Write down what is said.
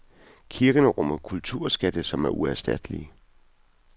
Kirkerne rummer kulturskatte, som er uerstattelige.